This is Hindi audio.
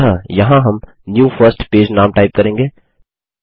अतः यहाँ हम न्यू फर्स्ट पेज नाम टाइप करेंगे